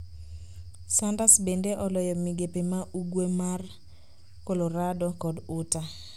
Sanders bende oloyo migepe ma ugwe mar Colorado kod Utah